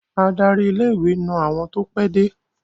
Adarí ilé-ìwé na àwọn tó pẹ́de.